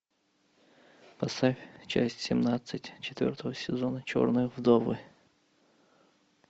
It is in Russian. поставь часть семнадцать четвертого сезона черные вдовы